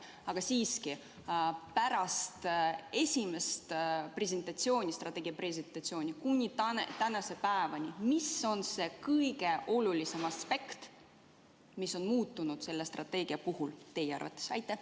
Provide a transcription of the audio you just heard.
Aga siiski, pärast esimest strateegia presentatsiooni kuni tänaseni päevani – mis on teie arvates kõige olulisem aspekt, mis on selle strateegia puhul muutunud?